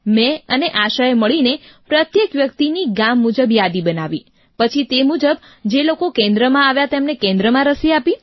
મેં અને આશાએ મળીને પ્રત્યેક વ્યક્તિની ગામ મુજબ યાદી બનાવી પછી તે મુજબ જે લોકો કેન્દ્રમાં આવ્યા તેમને કેન્દ્રમાં રસી આપી